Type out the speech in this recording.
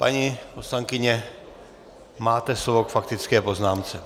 Paní poslankyně, máte slovo k faktické poznámce.